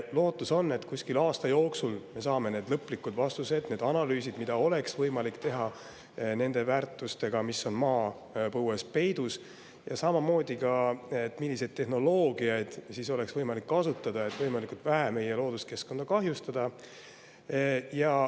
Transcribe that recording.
Lootus on, et kuskil aasta jooksul me saame need lõplikud vastused, saavad valmis need analüüsid, mida oleks võimalik teha nende väärtustega, mis on maapõues peidus, ja samamoodi ka selgub, milliseid tehnoloogiaid oleks võimalik kasutada, et võimalikult vähe meie looduskeskkonda kahjustada.